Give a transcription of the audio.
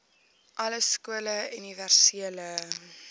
alle skole universele